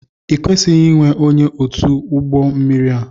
i kwesịghị inwe ónyé ọtu n'ugbó mmiri a!!!